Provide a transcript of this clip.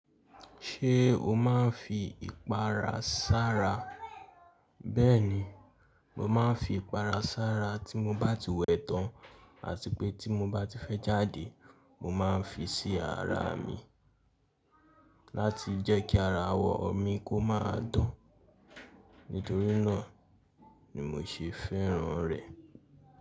Ṣé o máa ń fi ìpara sára? Bẹ́ẹ̀ni, mo máa ń fi ìpara sára tí mo bá ti wẹ̀ tán àti pé tí mo bá ti fẹ́ jáde, mo máa ń fi sí ara mi láti jẹ́ kí ara awọ mi kó máa dán. Nítorí náà ni mo ṣe fẹ́ràn rẹ̀.